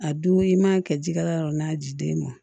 A dun i man kɛ jikɛ yɔrɔ n'a ji den ma